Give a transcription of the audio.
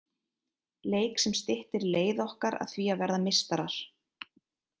Leik sem styttir leið okkar að því að verða meistarar.